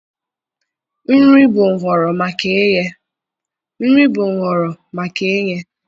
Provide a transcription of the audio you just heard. Nri bụ nhọrọ maka ighe.